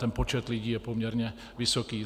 Ten počet lidí je poměrně vysoký.